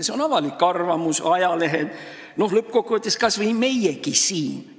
See on avalik arvamus, ajalehed, lõppkokkuvõttes kas või meiegi siin.